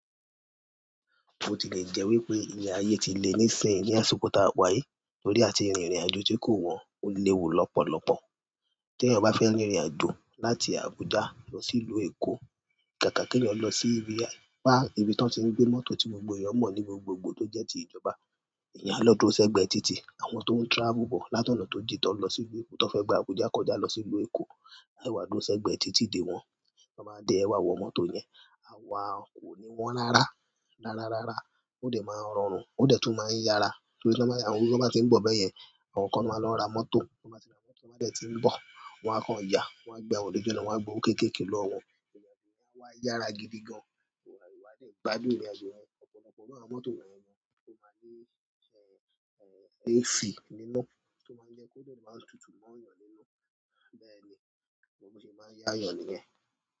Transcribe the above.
Ó ti lè jẹ́ wípé ìle ayé ti lé nísìnyí ní àsìkò ti awá yi, torí àti rìnrìn àjò tí kò wọ́n ó léwu lọ́pọ̀lọ́pọ̀. Tí eeyan ba fẹ́ rìn ìrìn àjò láti Abuja lọ sí ìlú Èkó, kàkà kí eeyan o lọ sí ibi, bá ibi tí wọ́n ti ń gbé mọ́tò tí gbogbo ẹ̀yàn mọ̀ ní gbogbogbò tó jẹ́ ti ìjọba. Eeyan a lọ́dúro sẹ́gbẹ̀ẹ́ títì, àwọn tó ń travel bọ̀ látọ̀nà tó jí ti won n lọ sí ìlú Èkó, ti wón fẹ́ gba Abuja kọjá lọ sí ìlú Èkó, ewádùro sẹ́gbẹ̀ẹ́ títì dé wọn. Ti wọ́n báa de ẹ̀ wá wọ mọ́tò yẹn, kò ní wọn lára. Rára rára, ó dẹ̀ máa ń rọrùn, ó dẹ̀ tún máa ń yára torí ti won baá, àwọn mi ti bá tí ń bọ̀ bẹ́yẹn, àwọn kan lo máa lọ ra mọ́tò, wọn máa ti ra mọ́tò ti wọn bá dẹ̀ tí ń bọ̀, wọn á kan ya, wọ́n á gba, wòn ni gbe lọ́, wọ́n á gbowó kéékèèké lọ́wọ́ won, o wá yára gidi gan. Wà á dẹ̀ gbádùn ìrìn àjò rẹ, ọ̀pọ̀lọpọ̀ nínú àwọn mọ́tò wọ̀nyẹn ni ó máa ń ní, AC nínú tó máa ń jẹ́ kó de le máa ń tutù mọ́ èèyàn nínú. Bẹ́ẹ̀ni gbogbo bi o ṣe máa ń yá èèyàn nìyẹn.